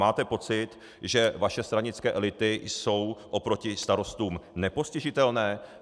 Máte pocit, že vaše stranické elity jsou oproti starostům nepostižitelné?